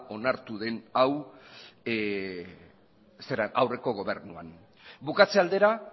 onartu den hau aurreko gobernuan bukatze aldera